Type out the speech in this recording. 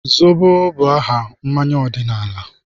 Zobo bụ aha mmanya ọdịnala.